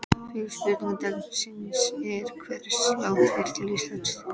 Fyrri spurning dagsins er: Hversu langt fer Ísland?